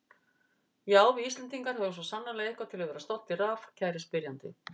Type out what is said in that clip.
Já, við Íslendingar höfum svo sannarlega eitthvað til að vera stoltir af, kæri spyrjandi.